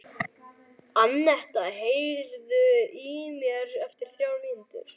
Annetta, heyrðu í mér eftir þrjár mínútur.